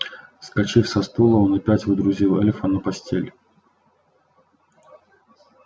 вскочив со стула он опять водрузил эльфа на постель